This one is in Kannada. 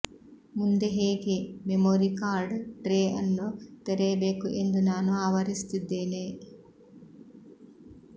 ಮುಂದೆ ಹೇಗೆ ಮೆಮೊರಿ ಕಾರ್ಡ್ ಟ್ರೇ ಅನ್ನು ತೆರೆಯಬೇಕು ಎಂದು ನಾನು ಆವರಿಸುತ್ತಿದ್ದೇನೆ